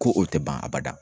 Ko o tɛ ban a bada